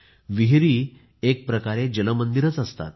विहिरी ह्या एकप्रकारे जलमंदिरच तर असतात